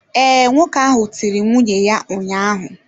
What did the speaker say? Ee, nwoke ahụ tiri nwunye ya ụnyahụ.